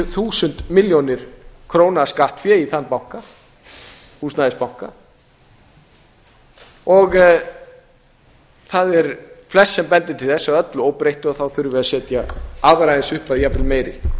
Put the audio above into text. þúsund milljónir króna af skattfé í þann banka húsnæðisbanka það er flest sem bendir til þess að öllu óbreyttu þurfum við að setja aðra eins upphæð jafnvel meiri